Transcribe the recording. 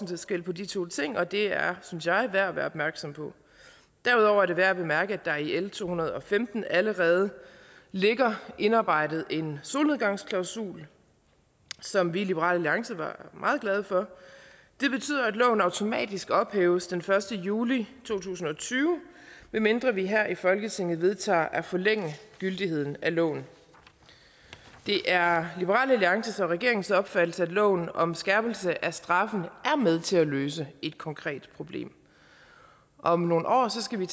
forskel på de to ting og det er synes jeg værd at være opmærksom på derudover er det værd at bemærke at det i l to hundrede og femten allerede ligger indarbejdet en solnedgangsklausul som vi i liberal alliance var meget glade for det betyder at loven automatisk ophæves den første juli to tusind og tyve medmindre vi her i folketinget vedtager at forlænge gyldigheden af loven det er liberal alliance og regeringens opfattelse at loven om skærpelse af straffen er med til at løse et konkret problem om nogle år skal vi